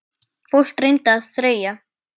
Fólk reyndi að þreyja.